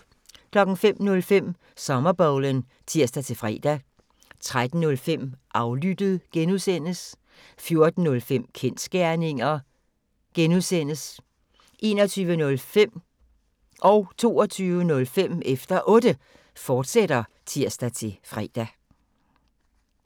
05:05: Sommerbowlen (tir-fre) 13:05: Aflyttet (G) 14:05: Kensgerninger (G) 21:05: Efter Otte, fortsat (tir-fre) 22:05: Efter Otte, fortsat (tir-fre)